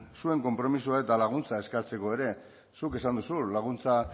zuen konpromisoa eta laguntza eskertzeko ere zuk esan duzu laguntza